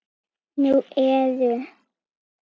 Nú eru